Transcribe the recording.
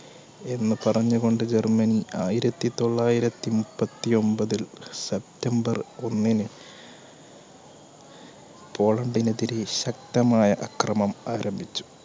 എന്ന് പറഞ്ഞുകൊണ്ട് ജർമ്മനി ആയിരത്തിതൊള്ളായിരത്തി മുപ്പത്തിഒൻപതിൽ september ഒന്നിന് പോളണ്ടിനെതിരെ ശക്തമായ അക്രമണം ആരംഭിച്ചു.